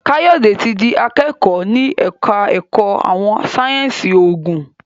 Kayode tí dì akẹkọ ní ẹka ẹkọ àwọn sáyẹnsì oògùn.